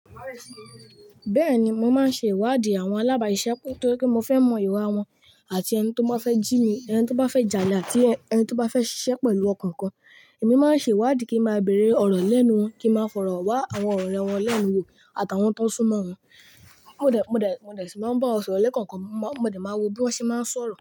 Bẹ́ẹ̀ni, mò máa ń ṣe ìwádìí àwọn alábàáṣisẹ́pó toripe mò fẹ́ mọ ìwà wọn àti ẹni tó bá fẹ́ jí mi, ẹni tó bá fẹ́ jalè àti ẹni tó bá fẹ́ ṣiṣẹ́ pẹ̀lú ọkàn kan. Èmi máa ń ṣe ìwádìí kí màá bẹ̀rẹ̀ ọ̀rọ̀ lẹ́nu wọn, kí màá fọ̀rọ̀ wá àwọn ọ̀rẹ́ wọn lẹ́nu wò àtàwọn tó sún mọ́ wọn. Mò dẹ̀ ṣì máa ń bá ọ̀rẹ́ kankan, mò dẹ̀ máa wo bí wọ́n ṣé máa ń sọ̀rọ̀